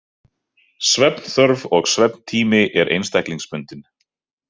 Svefnþörf og svefntími er einstaklingsbundinn.